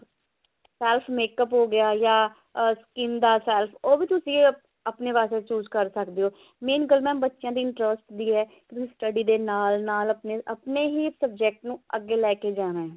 fast makeup ਹੋਗਿਆ ਯਾ ah skin ਦਾ ਉਹ ਵੀ ਤੁਸੀਂ ਆਪਣੇ ਵਾਸਤੇ choose ਕਰ ਸਕਦੇ ਹੋ ਮੈਂ ਗੱਲ mam ਬੱਚਿਆਂ ਦੇ interest ਦੀ ਹੈ ਵੀ study ਦੇ ਨਾਲ ਨਾਲ ਆਪਣੇ ਹੀ project ਨੂੰ ਅੱਗੇ ਲੈਕੇ ਜਾਣਾ ਹਾ